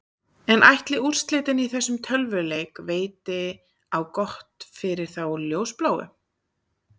En ætli úrslitin í þessum tölvuleik veiti á gott fyrir þá ljósbláu?